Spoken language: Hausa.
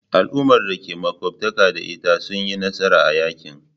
Al'ummar da ke makwabtaka da ita sun yi nasara a yakin.